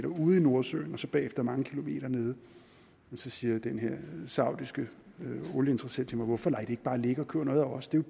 ude i nordsøen og så derefter mange kilometer nede siger den her saudiske olieinteressent til mig hvorfor lader i bare ligge og køber noget af os det er